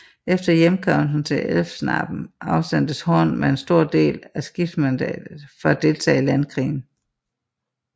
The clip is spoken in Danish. Efter hjemkomsten til Elfsnabben afsendtes Horn med en stor del af skibsmandskabet for at deltage i landkrigen